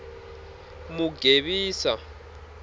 mugevisa